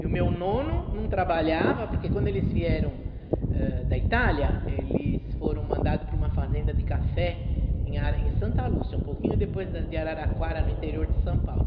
E o meu nono não trabalhava, porque quando eles vieram, eh, da Itália, eles foram mandados para uma fazenda de café em a em Santa Lúcia, um pouquinho depois de Araraquara, no interior de São Paulo.